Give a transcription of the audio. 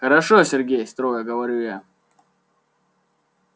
хорошо сергей строго говорю я